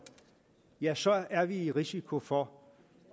ja så er vi i risiko for